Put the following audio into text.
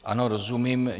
Ano, rozumím.